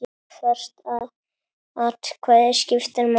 Hvert atkvæði skiptir máli.